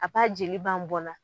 A b'a jeli ban bɔ la